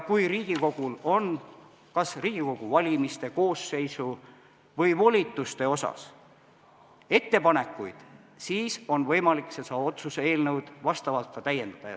Kui Riigikogul on kas Riigikogu valimiste, koosseisu või volituste kohta ettepanekuid, siis on võimalik seda otsuse eelnõu vastavalt täiendada.